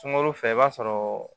Sunkalo fɛ i b'a sɔrɔ